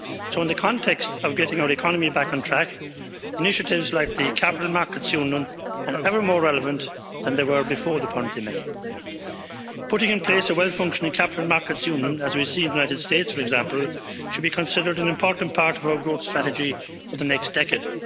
So in the context of getting the economy back on track, initiatives like the capital markets union are ever more relevant than they were before the pandemic. Putting in place a well functioning capital markets union, as we see in the United States for example, should be considered an important part of our growth strategy for the next decade.